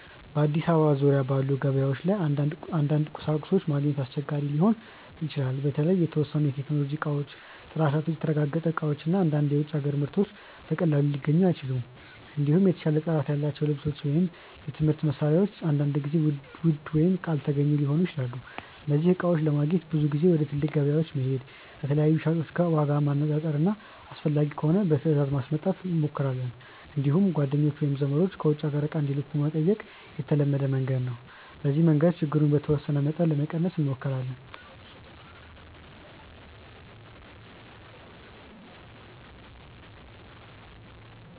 በአዲስ አበባ ዙሪያ ባሉ ገበያዎች ላይ አንዳንድ ቁሳቁሶች ማግኘት አስቸጋሪ ሊሆን ይችላል። በተለይ የተወሰኑ የቴክኖሎጂ እቃዎች፣ ጥራታቸው የተረጋገጠ እቃዎች እና አንዳንድ የውጭ አገር ምርቶች በቀላሉ ሊገኙ አይችሉም። እንዲሁም የተሻለ ጥራት ያላቸው ልብሶች ወይም የትምህርት መሳሪያዎች አንዳንድ ጊዜ ውድ ወይም አልተገኙ ሊሆኑ ይችላሉ። እነዚህን እቃዎች ለማግኘት ብዙ ጊዜ ወደ ትልቅ ገበያዎች መሄድ፣ ከተለያዩ ሻጮች ዋጋ ማነፃፀር እና አስፈላጊ ከሆነ በትእዛዝ ማስመጣት እንሞክራለን። እንዲሁም ጓደኞች ወይም ዘመዶች ከውጭ አገር እቃ እንዲልኩ መጠየቅ የተለመደ መንገድ ነው። በዚህ መንገድ ችግሩን በተወሰነ መጠን ለመቀነስ እንሞክራለን።